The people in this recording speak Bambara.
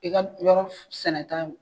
I ke yɔrɔ sɛnɛta